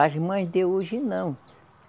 As mães de hoje, não.